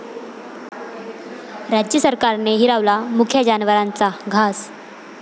राज्य सरकारने हिरावला मुक्या जनावरांचा घास!